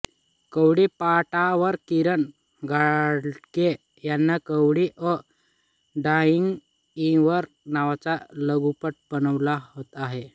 कवडीपाटावर किरण घाडगे यांनी Kawadi a dying river नावाचा लघुपट बनवला आहे